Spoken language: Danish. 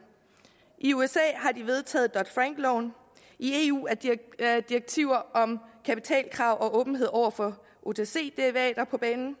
i usa har de vedtaget dodd frank loven i eu er direktiver om kapitalkrav og åbenhed over for otc derivater på banen